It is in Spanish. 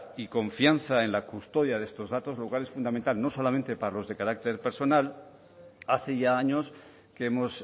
y confianza en la custodia de estos datos lo cual es fundamental no solamente para los de carácter personal hace ya años que hemos